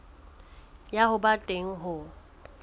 ya ho ba teng ho